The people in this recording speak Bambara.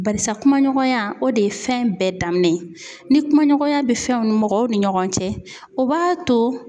Barisa kuma ɲɔgɔnya ,o de ye fɛn bɛɛ daminɛ ye .Ni kumaɲɔgɔnya be fɛnw ni mɔgɔw ni ɲɔgɔn cɛ, o b'a to